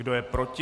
Kdo je proti?